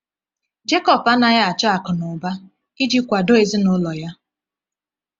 Jekọb anaghị achọ akụ na ụba iji kwado ezinụlọ ya.